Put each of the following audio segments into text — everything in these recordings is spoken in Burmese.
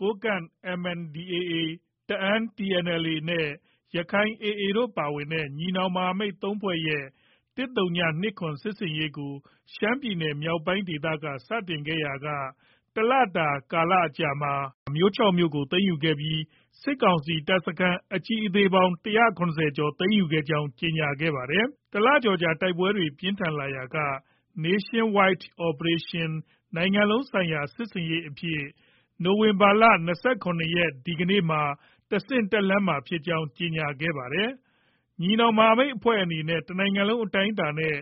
ကိုးကန့် MNDAA ၊ တအာင်းTNLA နဲ့ ရက္ခိုင် AA တို့ ပါဝင်တဲ့ ညီနောင်မဟာမိတ် ၃ဖွဲ့ ရဲ့ ၁၀၂၇ စစ်ဆင်ရေးကို ရှမ်းပြည်နယ်မြောက်ပိုင်းဒေသက စတင်ခဲ့ရာက တလတာ ကာလမှာ မြို့ ၆မြို့ကို သိမ်းယူပြီး စစ်ကောင်စီ တပ်စခန်း အကြီးအသေးပေါင်း၁၇၀ကျော် သိမ်းယူနိုင်ခဲ့ကြောင်း ကြေညာထားပါတယ်။ တလကျော်ကြာ တိုက်ပွဲတွေ ပြင်းထန်ခဲ့ရာက Nationwide Operation နိုင်ငံလုံး ဆိုင်ရာ စစ်ဆင်ရေးအဖြစ် နိုဝင်ဘာ ၂၇ရက်နေ့မှာ တဆင့်တက်လှမ်းတော့မှာဖြစ်ကြောင်း ကြေညာထားတာပါ။ ညီနောင်မဟာမိတ်အဖွဲ့တွေအနေနဲ့ တနိုင်ငံလုံး အတိုင်းအတာနဲ့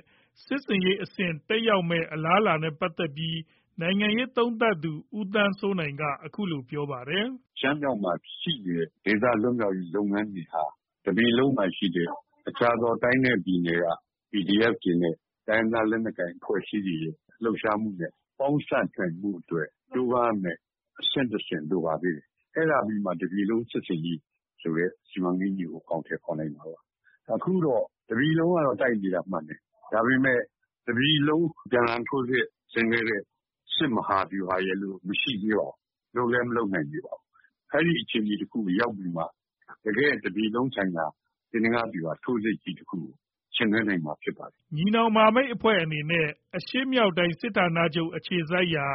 စစ်ဆင်ရေးအဆင့်တက်ရောက်နိုင်မယ့်အလားအလာနဲ့ ပတ်သက်ပြီး နိုင်ငံရေးသုံးသပ်သူ ဦးသန်းစိုးနိုင်က အခုလို ပြောပါတယ်။ “ ရှမ်းမြောက်မှာ ရှိနေတဲ့ ဒေသလွတ်မြောက်ရေး လုပ်ငန်းတွေဟာ တပြည်လုံးမှာရှိတဲ့ တခြားသော တိုင်းနဲ့ ပြည်နယ်က PDF တွေနဲ့ တိုင်းရင်းသားလက်နက်ကိုင်အဖွဲ့အစည်းတွေရဲ့ ပေါင်းစပ်နိုင်ဖို့အတွက် ကြိုးပမ်းရမယ့် အဆင့်တဆင့်လိုပါသေးတယ်။ အဲဒါပြီးမှ တပြည်လုံးစစ်ဆင်ရေးဆိုတဲ့ စီမံကိန်းကြီးကို အကောင်အထည် ဖော်နိုင်မှာပါ။ အခုတော့ တပြည်လုံးကတော့ တိုက်နေတာမှန်တယ်။ ဒါပေမဲ့ တပြည်လုံး ပြန်လှန် ထိုးစစ် ဆင်ခဲ့တဲ့ စစ်မဟာဗျူဟာရယ်လို့ မရှိသေးပါဘူး။ လုပ်လည်း မလုပ်နိုင်သေးပါဘူး။ အဲဒါအတွက် ခြေလှမ်း တလှမ်း လိုပါတယ်။ အဲဒီအခြေအနေတခုရောက်ပြီးမှာ တကယ့် တပြည်လုံးဆိုင်ရာ သေနင်္ဂဗျူဟာ ထိုးစစ်ကြီးတခု ဆင်နွှဲနိုင်မှာ ဖြစ်ပါတယ်။ ” ညီနောင်မဟာမိတ်တွေအနေနဲ့ အရှေ့မြောက်တိုင်းစစ်ဌာနချုပ်အခြေစိုက်ရာ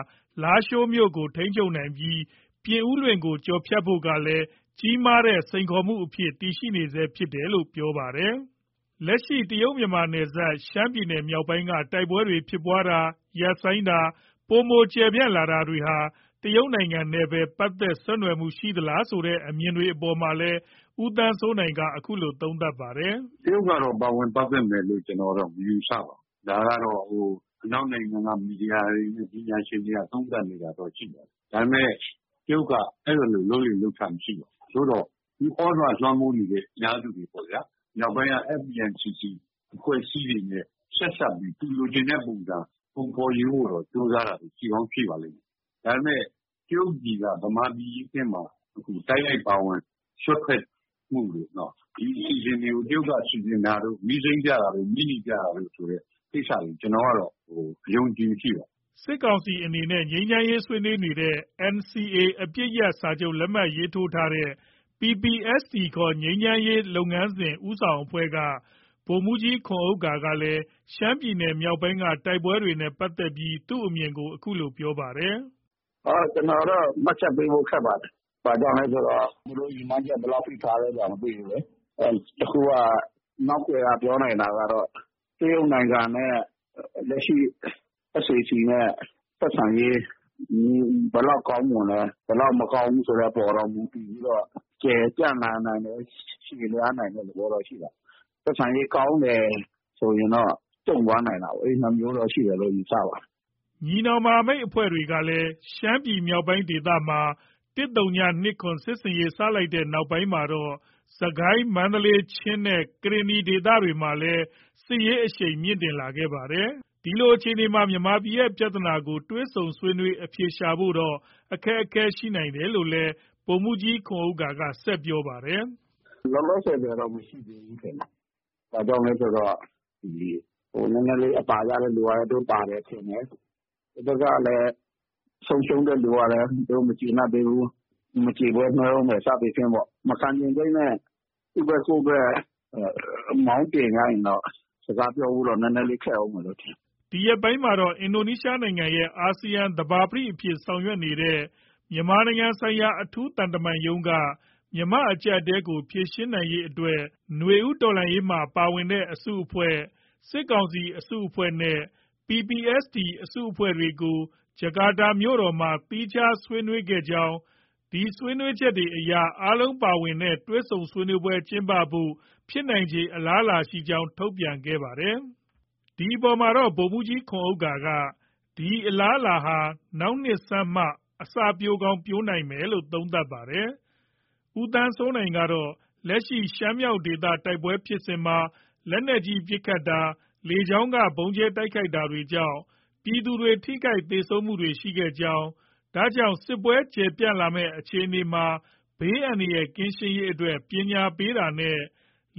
လားရှိုးကို ထိန်းချုပ်နိုင်ပြီး ပြင်ဦးလွင်ကို ကျော်ဖြတ်ဖို့ကလည်း ကြီးမားတဲ့စိန်ခေါ်မှုအဖြစ် တည်ရှိနေဆဲဖြစ်တယ်လို့လည်း ပြောပါတယ်။ လက်ရှိ တရုတ်- မြန်မာနယ်စပ် ရှမ်းပြည်နယ်မြောက်ပိုင်းမှာ တိုက်ပွဲတွေ ဖြစ်ပွားတာ၊ ရပ်ဆိုင်းတာ ၊ ပိုမို ကျယ်ပြန့်လာတာတွေဟာ တရုတ်နိုင်ငံနဲ့ ပတ်သက်ဆက်နွယ်မှုရှိသလားဆိုတဲ့ အမြင်တွေ အပေါ်မှာတော့ ဦးသန်းစိုးနိုင်က အခုလို သုံးသပ်ပါတယ်။ “ တရုတ်ကတော့ ပါဝင်ပတ်သက်မယ်လို့ မယူဆပါဘူး။ ဒါကတော့ အနောက်နိုင်ငံက မီဒီယာတွေနဲ့ ပညာရှင်တွေက သုံးသပ်နေတာတော့ ရှိပါတယ်။ ဒါပေမဲ့ တရုတ်က အဲဒီလို လုပ်လေ့လုပ်ထ မရှိပါဘူး။ ဒါပေမဲ့ သူသြဇာလွှမ်းမိုးနေတဲ့ အင်အားစုတွေပေါ့ဗျာ။ မြောက်ပိုင်းက FPNCC အဖွဲ့အစည်းတွေနဲ့ ဆက်စပ်ပြီး သူလိုချင်တဲ့ ပုံစံ ပုံဖော်ယူဖို့တော့ ကြိုးစားတာတွေ ရှိကောင်း ရှိပါလိမ့်မယ်။ ဒါပေမဲ့ တရုတ်ပြည်က ဗမာပြည်ထဲမှာ တိုက်ရိုက်ပါဝင် စွက်ဖက်မှုတို့၊ ဒီအစီအစဉ်တွေကို တရုတ်က စီစဉ်တာတို့၊ မီးစိမ်းပြတာတို့၊ မီးနီပြတာတို့ ဆိုတဲ့ကိစ္စတွေ ကျနော်ကတော့ အယုံအကြည်မရှိပါဘူး။” စစ်ကောင်စီနဲ့ ငြိမ်းချမ်းရေးဆွေးနွေးနေတဲ့ NCA အပစ်ရပ်စာချုပ် လက်မှတ်ရေးထိုးထားတဲ့ PPST ခေါ် ငြိမ်းချမ်းရေး လုပ်ငန်းစဉ် ဦးဆောင်အဖွဲ့က ဗိုလ်မှုးကြီးခွန်ဥက္ကာကတော့ ရှမ်းပြည်နယ်မြောက်ပိုင်းက တိုက်ပွဲတွေနဲ့ ပတ်သက်ပြီး သူ့အမြင်ကို အခုလို ပြောပါတယ်။ “ ကျနော်တော့ မှတ်ချက်ပေးဖို့ ခက်ပါတယ်။ ဘာကြောင့်လဲဆိုတော့ သူတို့ ရည်မှန်းချက် ဘယ်လောက်ထိ ထားလဲဆိုတာ မသိဘူးလေ။ တခုက နောက်ကွယ်က ပြောနိုင်တာကတော့ တရုတ်နိုင်ငံနဲ့ လက်ရှိ SAC နဲ့ ဆက်ဆံရေး ဘယ်လောက် ကောင်းမွန်လဲ၊ ဘယ်လောက် မကောင်းဘူး ဆိုတဲ့အပေါ်တော့ မူတည်ပြီးတော့ ကျယ်ပြန့်လာနိုင်တယ်။ ရှည်လျားလာနိုင်တဲ့ သဘောတော့ ရှိပါတယ်။ ဆက်ဆံရေးကောင်းတယ်ဆိုရင်တော့ ကျုံ့သွားနိုင်တာပေါ့။ အဲဒီနှစ်မျိုးတော့ ရှိတယ်လို့ ယူဆပါတယ်။” ညီနောင်မဟာမိတ်အဖွဲ့တွေက ရှမ်းမြောက်ဒေသမှာ ၁၀၂၇ စစ်ဆင်ရေးစလိုက်တဲ့နောက်မှာတော့ စစ်ကိုင်း၊ မန္တလေး၊ ချင်းနဲ့ ကရင်နီဒေသတွေမှာပါ စစ်ရေး အရှိန်မြင့်တက်လာခဲ့တာပါ။ ဒီလိုအခြေအနေမှာ မြန်မာပြည်ရဲ့ ပြဿနာကို တွေ့ဆုံဆွေးနွေးအဖြေရှာဖို့တော့ အခက်အခဲရှိနိုင်တယ်လို့လည်း ဗိုလ်မှူးကြီး ခွန်ဥက္ကာက ဆက်ပြောပါတယ်။ “ လောလောဆည်ဆည်တော့ မရှိသေးဘူးထင်တယ်။ ဘာကြောင့်လဲဆိုတော့ နည်းနည်းလေး အသာရတဲ့သူကလည်း သူတို့ သာတယ်ထင်တယ်။ တဘက်ကလည်း ဆုံးရှုံးတဲ့သူကလည်း သူတို့ မကျေနပ်သေးဘူး။ မကျေပွဲနွှဲအုံးမယ် စသည်ဖြင့်ပေါ့။ မခံချင်စိတ်နဲ့ သူ့ဘက် ကိုယ့်ဘက်က မောင်းတင်ထားရင်တော့ စကားပြောဖို့တော့ နည်းနည်းလေး ခက်အုံးမယ်လို့ ထင်တယ်။” ဒီရက်ပိုင်းမှာတော့ အင်ဒိုနီးရှားနိုင်ငံရဲ့ အာဆီယံသဘာပတိအဖြစ် ဆောင်ရွက်နေတဲ့ မြန်မာနိုင်ငံဆိုင်ရာ အထူးသံတမန်ရုံးက မြန်မာ့အကျပ်အတည်းကို ဖြေရှင်းရေးအတွက် နွေဦးတော်လှန်ရေးမှာပါဝင်တဲ့အစုအဖွဲ့၊ စစ်ကောင်စီအစုအဖွဲ့နဲ့ PPST အစုအဖွဲ့တွေကို ဂျကာတာမြို့တော်မှာ သီးခြားစီဆွေးနွေးခဲ့ကြောင်း၊ ဒီဆွေးနွေးချက်တွေအရ အားလုံးပါဝင်တဲ့ တွေ့ဆုံဆွေးနွေးပွဲ ကျင်းပဖို့ ဖြစ်နိုင်ခြေအလားအလာရှိကြောင်း ထုတ်ပြန်ခဲ့ပါတယ်။ ဒီအပေါ်မှာတော့ ဗိုလ်မှုးကြီးခွန်ဥက္ကာက ဒီအလားအလာဟာ နောက်နှစ်ဆန်းလောက်မှ အစပျိုးကောင်း ပျိုးနိုင်မယ်လို့ သုံးသပ်ပါတယ်။ ဦးသန်းစိုးနိုင်ကတော့ လက်ရှိ ရှမ်းမြောက်ဒေသ တိုက်ပွဲဖြစ်စဉ်မှာ လက်နက်ကြီးပစ်ခတ်တာ၊ လေကြောင်းကဗုံးကြဲတိုက်ခိုက်တာတွေကြောင့် ပြည်သူတွေ ထိခိုက်သေဆုံးမှုတွေ ရှိခဲ့ကြောင်း၊ ဒါကြောင့် စစ်ပွဲကျယ်ပြန့်လာမယ်အခြေအနေမှာ ဘေးအန္တရာယ်ကင်းရှင်းရေးအတွက် ပညာပေးတာနဲ့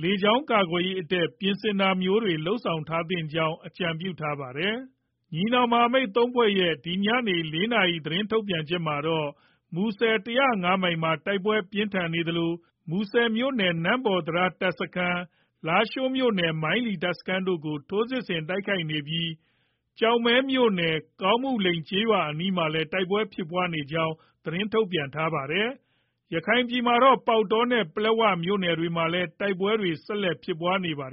လေကြောင်းကာကွယ်ရေးအတွက် ပြင်ဆင်တာမျိုးတွေ လုပ်ဆောင်ထားသင့်ကြောင်း အကြံပြုထားပါတယ်။ ညီနောင်မဟာမိတ် ၃ဖွဲ့ရဲ့ ဒီညနေ ၄နာရီ သတင်းထုတ်ပြန်ချက်မှာတော့ မူဆယ် ၁၀၅မိုင်မှာ တိုက်ပွဲပြင်းထန်နေသလို မူဆယ်မြို့နယ် နမ့်ပေါတံတား တပ်စခန်း၊ လားရှိုးမြို့နယ် မိုင်းလီ တပ်စခန်းတို့ကို ထိုးစစ်ဆင် တိုက်ခိုက်နေပြီး ကျောက်မဲမြို့နယ် ကောင်းမှုလိန်ကျေးရွာအနီးမှာလည်း တိုက်ပွဲဖြစ်ပွားနေကြောင်း သတင်းထုတ်ပြန်ထားပါတယ်။ ရခိုင်ပြည်နယ်မှာတော့ ပေါက်တောနဲ့ ပလက်ဝမြို့နယ်တွေမှာ တိုက်ပွဲဆက်လက်ဖြစ်ပွားနေပါတယ်